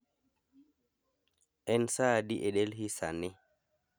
En saa adi e delhi sani